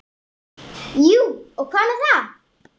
Jú og hvað með það!